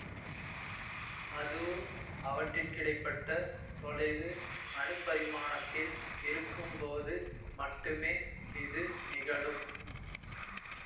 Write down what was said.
அதுவும் அவற்றிற்கிடைப்பட்ட தொலைவு அணுப்பரிமாணத்தில் இருக்கும்போது மட்டுமே இது நிகழும்